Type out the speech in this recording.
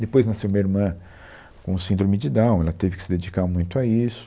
Depois nasceu minha irmã com síndrome de Down, ela teve que se dedicar muito a isso,